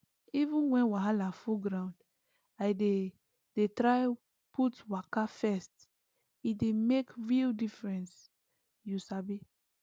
even when wahala full ground i dey dey try put waka first e dey make real difference you sabi